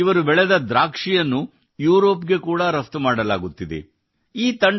ಈಗ ಇವರು ಬೆಳೆಸಿದ ದ್ರಾಕ್ಷಿಯನ್ನು ಯೂರೋಪ್ ಗೆ ಕೂಡಾ ರಫ್ತು ಮಾಡಲಾಗುತ್ತಿದೆ